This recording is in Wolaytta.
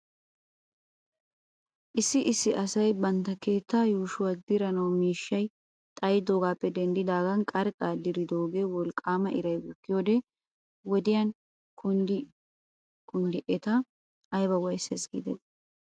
Issi issi asay bantta keettaa yuushuwaa diranaw miishshay xayidoogaappe denddidaagan qarxxan diridoogee wolqaama iray bukkiyoo wodiyan kunddi kunddidi eta ayba waayisses giidetii!